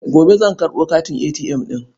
Gobe zan karɓo katin ATM ɗin.